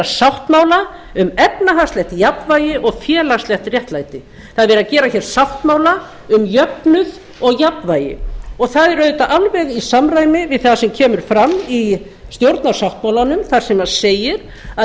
sáttmála um efnahagslegt jafnvægi og félagslegt réttlæti það er verið að gera sáttmála um jöfnuð og jafnvægi og það er auðvitað alveg í samræmi við það sem kemur fram í stjórnarsáttmálanum þar sem segir að